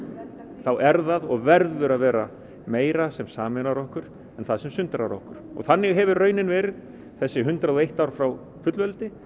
þá er það og verður að vera meira sem sameinar okkur en það sem sundrar okkur og þannig hefur raunin verið þessi hundrað og eitt ár frá fullveldi